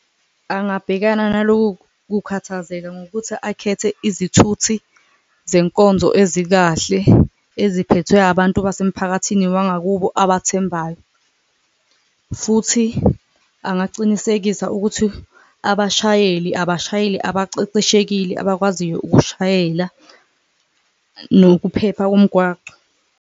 Angabhekana naloku kukhathazeka ngokuthi akhethe izithuthi zenkonzo ezikahle eziphethwe abantu basemphakathini wangakubo abathembayo, futhi angacinisekisa ukuthi abashayeli abashayeli abaceceshekile abakwaziyo ukushayela, nokuphepha komgwaco.